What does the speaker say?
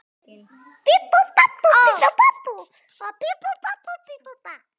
Magnús Hlynur: Báðir góðir?